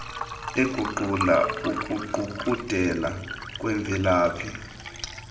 eguqula ukuqukuqela kwemvelaphi